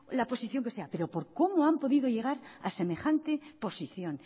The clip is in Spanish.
la posición que sea pero por cómo han podido llegar a semejante posición